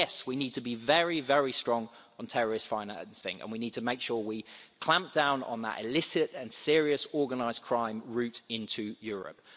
Yes, we need to be very, very strong on terrorist financing and we need to make sure we clamp down on that illicit and serious organised crime route into Europe.